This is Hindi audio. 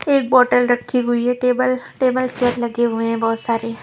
एक बोटल रखी हुई है टेबल टेबल चेयर लगे हुए हैं बहुत सारे --